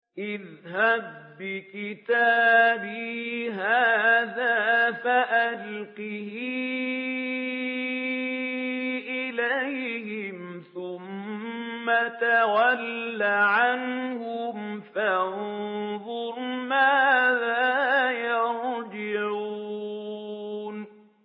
اذْهَب بِّكِتَابِي هَٰذَا فَأَلْقِهْ إِلَيْهِمْ ثُمَّ تَوَلَّ عَنْهُمْ فَانظُرْ مَاذَا يَرْجِعُونَ